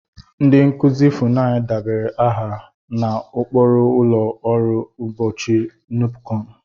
Ndị nkuzi Funai debara aha n'okpuru ụlọ ọrụ mkpuchi Nupecom